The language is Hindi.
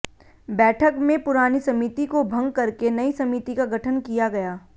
बैठक में पुरानी समिति को भंग करके नई समिति का गठन किया गया